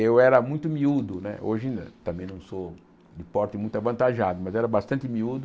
Eu era muito miúdo né, hoje também não sou de porte muito avantajado, mas era bastante miúdo.